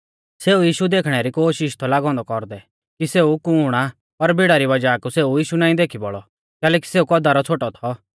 सेऊ यीशु देखणे री कोशिष थौ लागौ औन्दौ कौरदै कि सेऊ कुण आ पर भीड़ा री वज़ाह कु सेऊ यीशु नाईं देखी बौल़ौ कैलैकि सेऊ कौदा रौ छ़ोटौ थौ